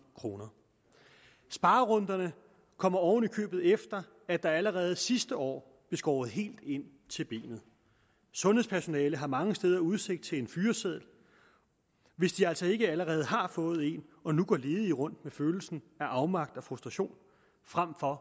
kroner sparerunderne kommer oven i købet efter at der allerede sidste år blev skåret helt ind til benet sundhedspersonalet har mange steder udsigt til en fyreseddel hvis de altså ikke allerede har fået en og nu går ledige rundt med følelsen af afmagt og frustration frem for